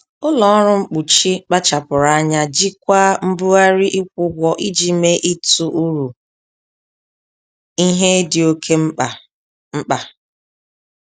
Ụlọ ọrụ mkpuchi kpachapụrụ anya jikwaa mbugharị ịkwụ ụgwọ iji mee ịtụ uru ihe dị oke mkpa. mkpa.